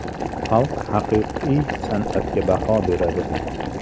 Xalq haqiqiy san’atga baho beradi.